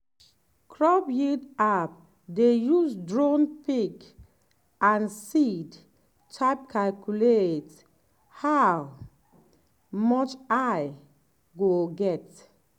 crop yield app dey use drone pic and seed type calculate how much i go get.